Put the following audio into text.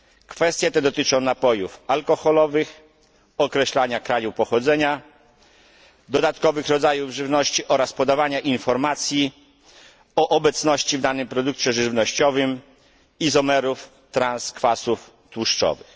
Kwestie te dotyczą napojów alkoholowych, określania kraju pochodzenia dodatkowych rodzajów żywności oraz podawania informacji o obecności w danym produkcie żywnościowym izomerów transkwasów tłuszczowych.